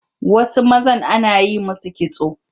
Wasu mazan ana yi musu kitso